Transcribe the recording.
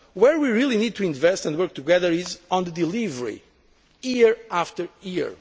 Where we really need to invest and work together is on the delivery, year after year.